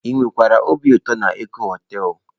Ị wekwara obi ụtọ na Eko họtelu?